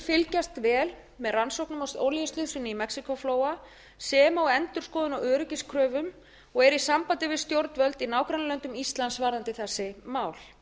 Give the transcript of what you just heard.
fylgjast vel með rannsóknum á olíuslysinu í mexíkóflóa sem og endurskoðun á öryggiskröfum og er í sambandi við stjórnvöld í nágrannalöndum íslands varðandi þessi mál